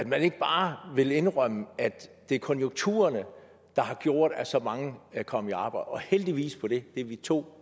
man ikke bare vil indrømme at det er konjunkturerne der har gjort at så mange er kommet og heldigvis for det det er vi to